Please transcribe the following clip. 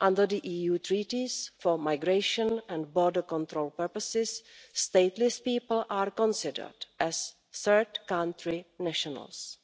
Under the EU Treaties, for migration and border control purposes, stateless people are considered as third country nationals,